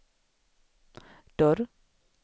dörr